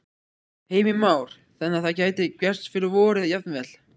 Heimir Már: Þannig að það gæti gerst fyrir vorið jafnvel?